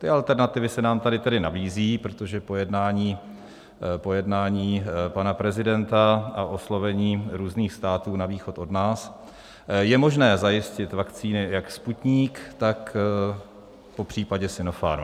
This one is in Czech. Ty alternativy se nám tady tedy nabízí, protože po jednání pana prezidenta a oslovení různých států na východ od nás je možné zajistit vakcíny jak Sputnik, tak popřípadě Sinopharm.